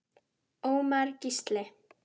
Ómar Gísli.